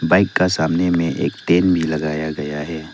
Bike का सामने में एक टेंट भी लगाया गया है।